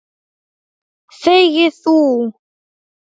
Þegi þú!